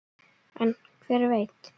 En hver veit!